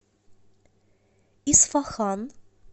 исфахан